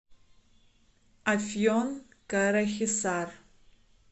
афьон карахисар